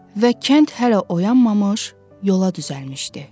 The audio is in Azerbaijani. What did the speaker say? Və kənd hələ oyanmamış, yola düzəlmişdi.